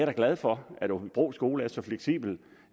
da glad for at aabybro skole er så fleksibel